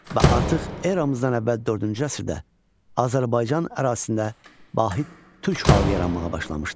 Və artıq eramızdan əvvəl dördüncü əsrdə Azərbaycan ərazisində vahid türk xalqı yaranmağa başlamışdı.